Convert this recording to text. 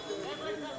Xeyirə qarşı.